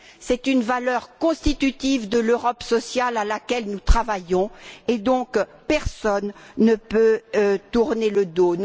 C'est une valeur constitutive de l'Europe sociale à laquelle nous travaillons, et donc personne ne peut tourner le dos.